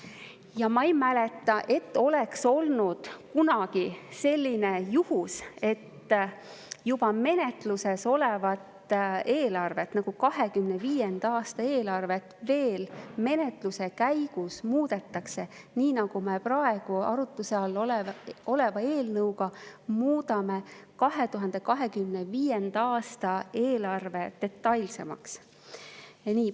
Ja ma ei mäleta, et oleks olnud kunagi selline juhus, et juba menetluses olevat eelarvet, nagu praegu 2025. aasta eelarve on, veel menetluse käigus muudetakse, nii nagu me praegu arutluse all oleva eelnõuga muudame 2025. aasta eelarvet detailsemaks.